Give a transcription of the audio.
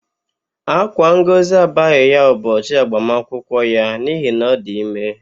Ákwá Ngọzi abaghị ya ụbọchị agbamakwụkwọ ya n'ihi na ọ dị ime.